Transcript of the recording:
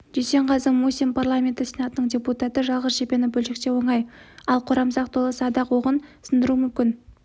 дүйсенғазы мусин парламенті сенатының депутаты жалғыз жебені бөлшектеу оңай ал қорамсақ толы садақ оғын сындыру мүмкін